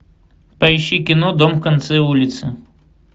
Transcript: поищи кино дом в конце улицы